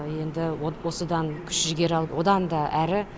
енді осыдан күш жігер алып одан да әрі